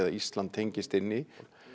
Ísland